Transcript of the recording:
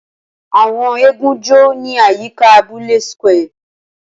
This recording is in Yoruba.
Awọn eégún jó ni ayika abule square